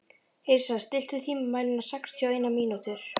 Yrsa, stilltu tímamælinn á sextíu og eina mínútur.